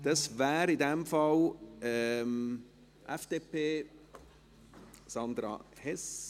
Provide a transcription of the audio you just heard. Das wäre in diesem Fall für die FDP Sandra Hess.